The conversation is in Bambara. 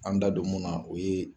An da don mun na, o ye